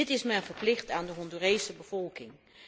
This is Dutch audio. Dit is men verplicht aan de Hondurese bevolking.